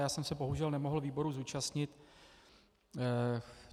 Já jsem se bohužel nemohl výboru zúčastnit.